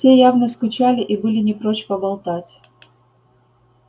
те явно скучали и были не прочь поболтать